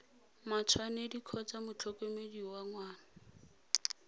matshwanedi kgotsa motlhokomedi wa ngwana